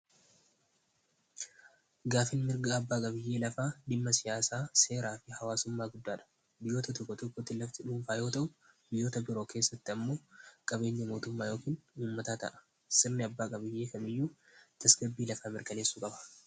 Gaaffiin mirgaa abbaa biyyee lafaa dimma siyaasaa seeraa fi hawaasummaa guddaadha. Biyyoota lafti dhuufaa yoo ta'u biyyoota biroo keessatti ammoo qabeenya mootummaa yookiin uummataa ta'a sirni abbaa qabiyyee biyyaa tasgabbii lafaa mirkaneessu qaba.